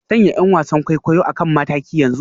Sanya 'yan wasan kwaikwayo a kan mataki yanzu